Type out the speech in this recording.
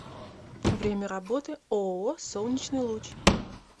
время работы ооо солнечный луч